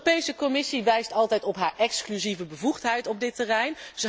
De Europese Commissie wijst altijd op haar exclusieve bevoegdheid op dit terrein.